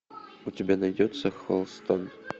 у тебя найдется холстон